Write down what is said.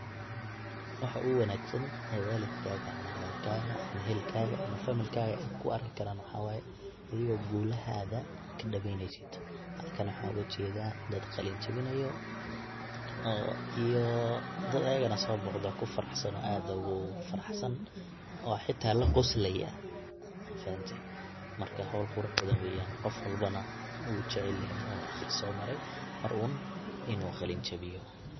Waxa oguwanagsan ee walidkaga ama walalkaga ama ehelkaga ama familkaga ey kuguarki karan waxa waye adigo gulahaga kadaweneysid, halkan waxa ogajeda dad qalinjabinayo iyo dad iyaga soboqde oo kufaraxsan oo aad ogufaraxsan oo xita laqosloyo mafahantay marka howl qurux weyan qof walba wu jecelyahay oo aqris somare mar uun in qalinjabiyo.